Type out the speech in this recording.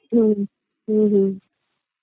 হম হম হম